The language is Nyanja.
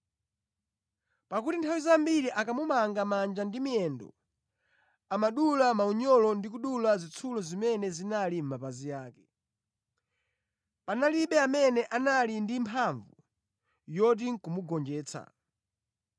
Pakuti nthawi zambiri akamumanga manja ndi miyendo amadula maunyolo ndi kudula zitsulo zimene zinali mʼmapazi ake. Panalibe amene anali ndi mphamvu yoti ndi kumugonjetsa.